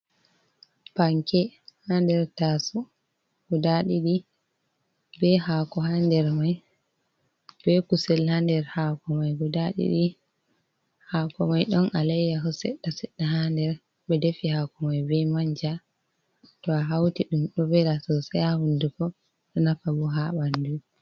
Panke haa nder taasowo ,guda ɗiɗi be haako haa nder may, be kusel haa nder haako may guda ɗiɗi, haako may ɗon alayyaho seɗɗa seɗɗa haa nder. Ɓe defi haako may be manja ,to a hawti ɗum ɗo vela sosay haa hunndugo ,ɗo nafa bo haa ɓanndu.